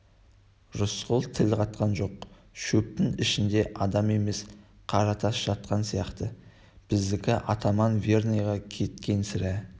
рысқұл тіл қатқан жоқ шөптің ішінде адам емес қаратас жатқан сияқты біздікі атаман верныйға кеткен сірә